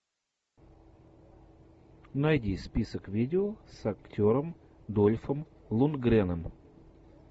найди список видео с актером дольфом лундгреном